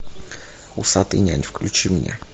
усатый нянь включи мне